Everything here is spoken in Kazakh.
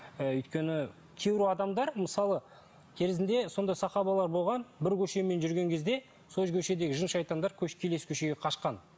ы өйткені кейбір адамдар мысалы кезінде сондай сахабалар болған бір көшемен жүрген кезде сол көшедегі жын шайтандар келесі көшеге қашқан